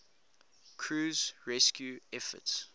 crew's rescue efforts